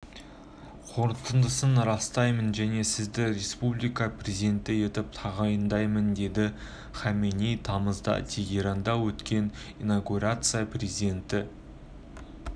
қорытындысын растаймын және сізді республика президенті етіп тағайындаймын деді хаменеи тамызда тегеранда өткен инаугурацияда президентті